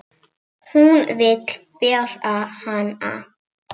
Hún vill bera hana.